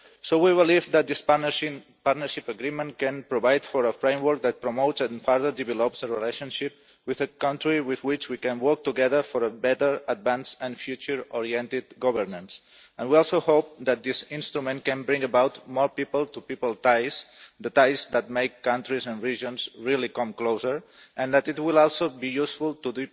We believe that this Partnership Agreement can provide for a framework that promotes and further develops the relationship with a country with which we can work together for a better advanced and future oriented governance. We also hope that this instrument can bring about more people to people ties, the ties that make countries and regions really come closer, and that it will also be useful to